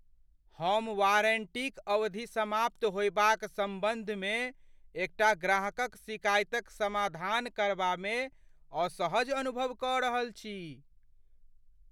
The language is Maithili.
हम वारंटीक अवधि समाप्त होयबाक सम्बन्धमे एकटा ग्राहकक शिकायतक समाधान करबामे असहज अनुभव कऽ रहल छी।